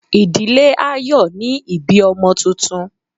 ìdílé a yóò ni ibí ọmọ túntún